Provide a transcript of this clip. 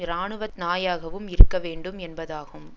இராணுவ நாயாகவும் இருக்க வேண்டும் என்பதாகும்